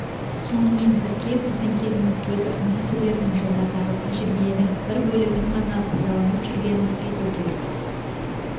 сонымен бірге біздің кезіміздегі үндесулердің жылдардағы тәжірибенің бір бөлігін ғана пайдаланып жүргенін айту керек